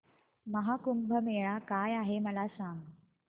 महा कुंभ मेळा काय आहे मला सांग